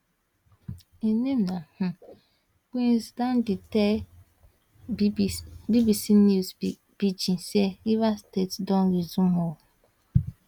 im name na um prince dandy tell bbc news pidgin say rivers state don resume ooo